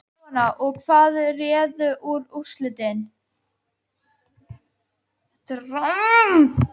Jóhanna: Og hvað réði úrslitum?